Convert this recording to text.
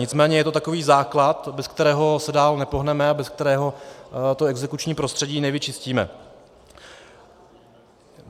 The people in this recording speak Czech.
Nicméně je to takový základ, bez kterého se dál nepohneme a bez kterého to exekuční prostředí nevyčistíme.